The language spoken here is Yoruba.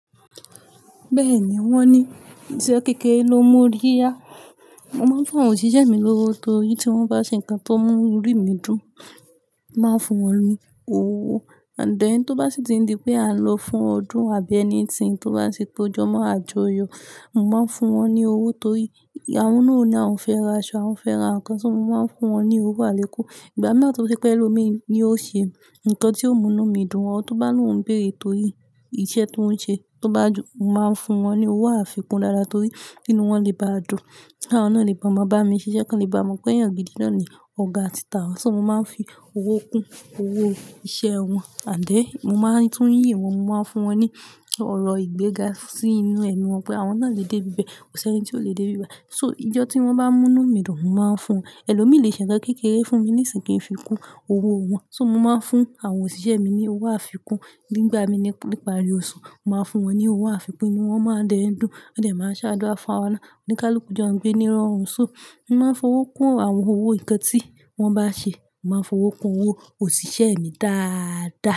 Bẹ́ẹ̀ni, wọ́n ní ìṣe kékeré ló mú orí yá. Mo máa ń fún àwọn òṣìṣẹ́ mi lówó torí tí wọ́n bá ṣe nǹkan tó mú inú mi dùn, màá fún wọn ní owó. And then, tó bá sì ti n di pé à ń lọ fún ọdún àbí anything tó bá tì tó jọ mọ́ àjọyọ̀, mo máa ń fún wọn ní owó torí àwọn náà ó ní àwọn fẹ́ ra aṣọ, àwọn fẹ́ ra nǹkan so mo máa ń fún wọn ní owó àlékún. Ìgbà mìíràn tó ṣe pé ẹlòmíràn ní yóò ṣe nǹkan tí ó mú inú mi dùn, or tó bá ní ohun bere torí ni ó ṣe torí iṣẹ́ tí ọ́ n ṣe tó bá dùn, mo màá n fún wọn ní owó àfikún dáadáa torí ínú wọn le baá dùn. Kí àwọn náà lè bá ma bá mi ṣiṣẹ́ kan lè bá mọ pé eyàǹ gidi náà ni ọ̀gá títi àwọn, ṣo mo máa ń fi owó kún owó iṣẹ́ wọn. And then, mo máa tún yìn wọn, mo máa ń fún wọn ní ọ̀rọ̀ ìgbéga sí inú ẹnu wọn pé àwọn náà lè dé ibi ibẹ̀, kò sí ẹni tí ó lè dé ibí bái. So ijọ́ tí wọ́n bá mú inú mi dùn, mo máa ń fún won. Ẹlòmíi lè ṣe nǹkan kékeré fún mi ní ìsìyin, ki n fi kún owó wọn. So mo máa ń fún àwọn òṣìṣẹ́ mi ní owó àfikún nígbà mi ní ìparí oṣù, mo màá n fún wọn ní owó àfikún inú wọn de má dẹ́ ń dùn. Ànd then màá ṣe àdúrà fún àwọn náà onikálúku jo n gbé ní irorun. So mo máa ń fowó kún àwọn owó nǹkan tí wọ́n bá ṣe, mo máa ń fowó kún owó òṣìṣẹ́ mi dáadáa.